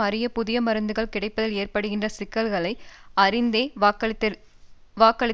அரிய புது மருந்துகள் கிடைப்பதில் ஏற்படுகின்ற சிக்கல்களை அறிந்தே வாக்களித்திருக்கிறார்கள்